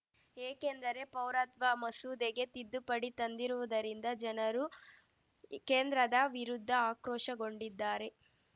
ಏಕೆಂದರೆ ಪೌರತ್ವ ಮಸೂದೆಗೆ ತಿದ್ದುಪಡಿ ತಂದಿರುವುದರಿಂದ ಜನರು ಕೇಂದ್ರದ ವಿರುದ್ಧ ಆಕ್ರೋಶಗೊಂಡಿದ್ದಾರೆ